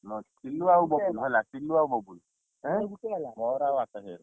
ପିଲୁ ଆଉ ବବୁଲ ହେଲା, ପିଲୁ ଆଉ ବବୁଲ, କାହାର ହେଲା ମୋର ଆଉ ଆକାଶର।